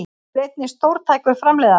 Hann er einnig stórtækur framleiðandi